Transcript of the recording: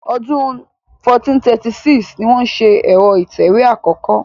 Ọdún 1436 ni wọ́n ṣe ẹ̀rọ ìtẹ̀wé àkọ́kọ́.